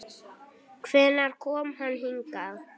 Hvenær kom hann hingað?